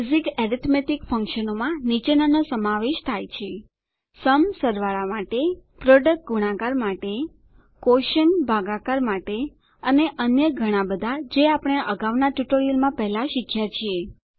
basic arithmetic ફંકશનોમાં નીચેનાનો સમાવેશ થાય છે સુમ સરવાળા માટે પ્રોડક્ટ ગુણાકાર માટે ક્વોશન્ટ ભાગાકાર માટે અને અન્ય ઘણાબધાં જે આપણે અગાઉનાં ટ્યુટોરીયલોમાં પહેલા શીખ્યા છીએ